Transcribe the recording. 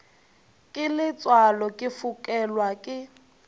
ke letswalo ke fokelwa ke